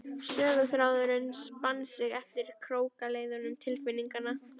Söguþráðurinn spann sig eftir krókaleiðum tilfinninganna.